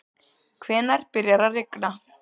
hvenær byrjar að rigna